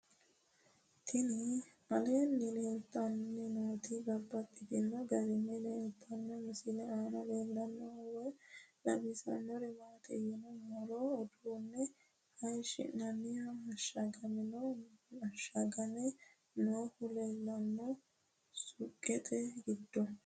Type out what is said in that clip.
Tinni aleenni leelittannotti babaxxittinno garinni leelittanno misile maa leelishshanno woy xawisannori maattiya yinummoro uduunne hayiishinnannihu ashagame noohu leelanno suuqqette giddo